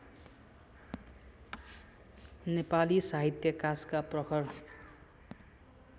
नेपाली साहित्याकाशका प्रखर